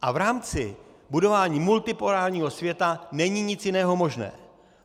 A v rámci budování multipolárního světa není nic jiného možné.